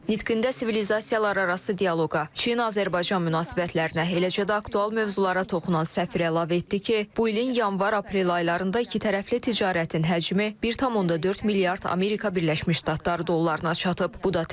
Nitqində sivilizasiyalararası dialoqa, Çin-Azərbaycan münasibətlərinə, eləcə də aktual mövzulara toxunan səfir əlavə etdi ki, bu ilin yanvar-aprel aylarında iki tərəfli ticarətin həcmi 1,4 milyard Amerika Birləşmiş Ştatları dollarına çatıb.